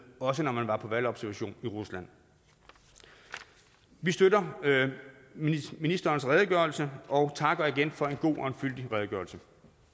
også når man var på valgobservation i rusland vi støtter ministerens redegørelse og takker igen for en god og fyldig redegørelse